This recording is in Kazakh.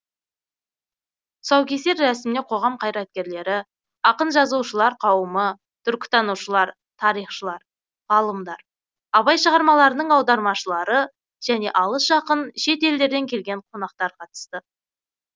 тұсаукесер рәсіміне қоғам қайраткерлері ақын жазушылар қауымы түркітанушылар тарихшылар ғалымдар абай шығармаларының аудармашылары және алыс жақын шет елдерден келген қонақтар қатысты